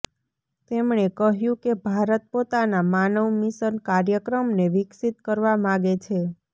તેમણે કહ્યું કે ભારત પોતાના માનવ મિશન કાર્યક્રમને વિકસિત કરવા માગે છે